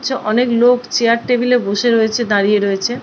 চ অনক লোক চেয়ার টেবিলে বসে রয়েছে দাঁড়িয়ে রয়েছে।